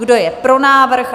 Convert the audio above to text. Kdo je pro návrh?